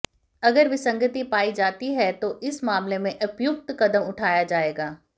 अगर विसंगति पाई जाती है तो इस मामले में उपयुक्त कदम उठाया जाएगा